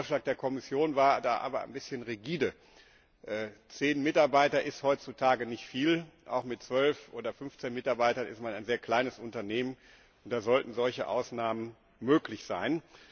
Der Vorschlag der Kommission war da aber ein bisschen rigide. Zehn Mitarbeiter sind heutzutage nicht viel, auch mit zwölf oder fünfzehn Mitarbeitern ist man ein sehr kleines Unternehmen. Da sollten solche Ausnahmen möglich sein.